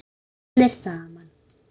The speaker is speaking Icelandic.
Allir saman.